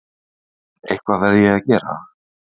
Eitthvað verð ég að gera.